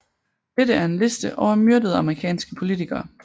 Dette er en liste over myrdede amerikanske politikere